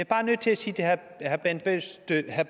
bare nødt til at sige til herre bent bøgsted at